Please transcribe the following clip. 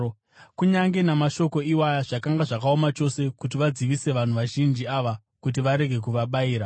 Kunyange namashoko iwaya, zvakanga zvakaoma chose kuti vadzivise vanhu vazhinji ava kuti varege kuvabayira.